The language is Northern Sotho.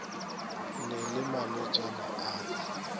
na le malwetšana a ka